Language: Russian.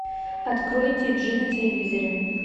открой ти джи на телевизоре